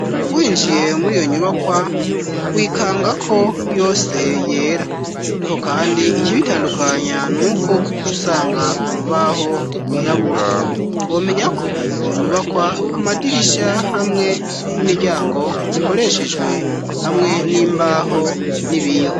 Winjiye muriyo nyubakwa wikanga ko yose yera ariko kandi ikibitandukanya nuko ucusanga urubaho rwirabura womenya ko iyo nyubakwa amadirisha hamwe n'imiryango bikoreshejwe hamwe n'imbaho n'ibiyo